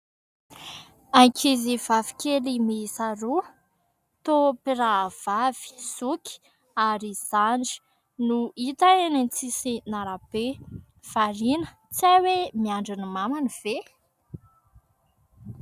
Ankizivavy kely miisa roa, toa mpirahavavy, zoky ary zandry no hita eny amin'ny sisin'arabe. Variana, tsy hay hoe miandry ny mamany ve ?